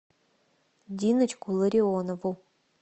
диночку ларионову